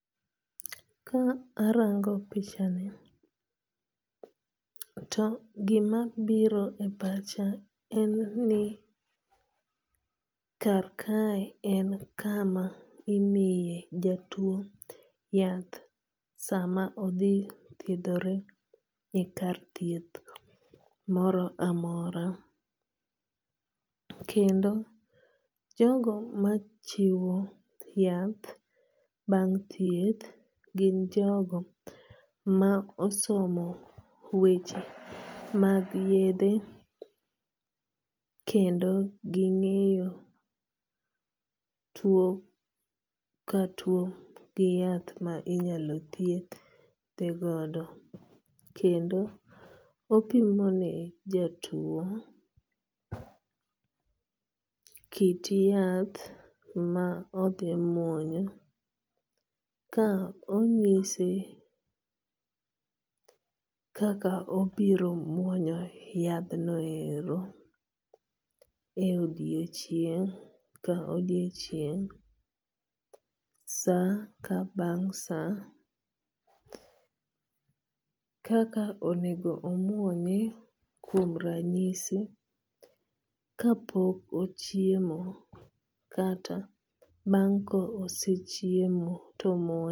Ka arango pichani to gima biro e pacha en ni kar kae en kama imiye jatuo yath sama odhi thiedhore e kar thieth moro amora. Kendo jogo machiwo yath bang' thieth gin jogo ma osomo weche mag yedhe kendo ging'eyo tuo ka tuo gi yath mainyalo thiedhe godo kendo opimo ne jatuo kit yath ma odhi muonyo ka onyise kaka obiro muonyo yadh no ero e odiochieng' ka odiochieng' sa ka bang' sa. Kaka onego omuonye kuom ranyisi ka pok ochiemo kata bang' kosechiemo to omuonye.